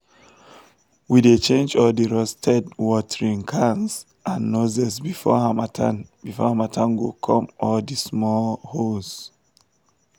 we dey change all di rusted watering cans and nozzels before harmattan before harmattan go come all di small holes.